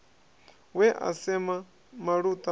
we a sema maluta a